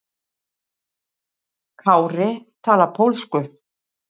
Kári talar pólsku.